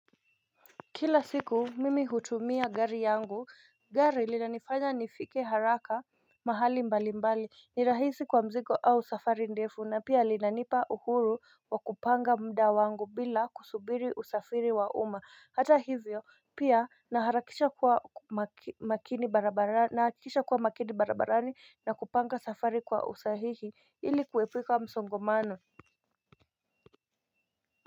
Kila siku mimi hutumia gari yangu. Gari linanifanya nifike haraka mahali mbalimbali ni rahisi kwa mzigo au safari ndefu na pia linanipa uhuru wa kupanga muda wangu bila kusubiri usafiri wa uma hata hivyo pia nahakikisha kuwa makini barabarani na kupanga safari kwa usahihi. Ili kuepuka msongomano.